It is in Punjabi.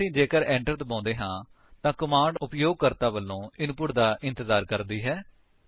ਹੁਣ ਅਸੀ ਜੇਕਰ enter ਦਬਾਉਂਦੇ ਹਾਂ ਤਾਂ ਕਮਾਂਡ ਉਪਯੋਗਕਰਤਾ ਵਲੋਂ ਇਨਪੁਟ ਦਾ ਇੰਤਜਾਰ ਕਰਦੀ ਹੈ